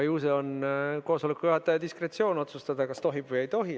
Ju see on koosoleku juhataja diskretsioon otsustada, kas tohib või ei tohi.